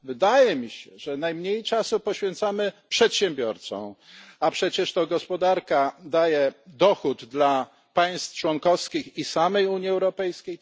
Wydaje mi się, że najmniej czasu poświęcamy przedsiębiorcom, a przecież to gospodarka daje dochód państwom członkowskim i samej Unii Europejskiej.